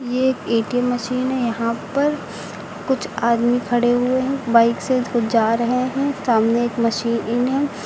ये A T M machine है यहां पर कुछ आदमी खड़े हुए हैं बाइक से कुछ जा रहे हैं सामने एक मशीन है।